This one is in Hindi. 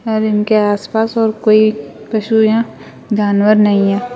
और इनके आप पास और कोई पशु या जानवर नहीं है।